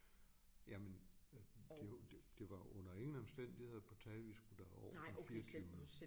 Jamen øh det jo det var under ingen omstændigheder på tale vi skulle derover den fireogtyvende